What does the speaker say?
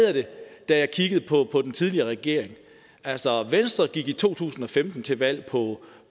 jeg det da jeg kiggede på den tidligere regering altså venstre gik i to tusind og femten til valg på